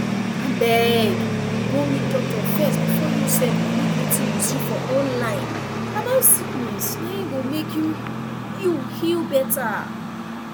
abeg go meet doctor first before you sef believe wetin you see for online about sickness na im go mek you you heal better